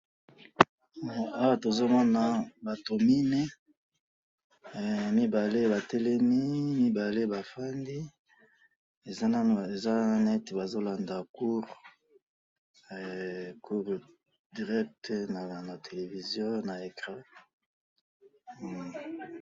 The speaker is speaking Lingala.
Eh! Awa tomona batu mine, eh! mibale batelemi, mibale bafandi, eza nanu, eza neti bazolanda cour, cour direct na télévision na écrant, hum!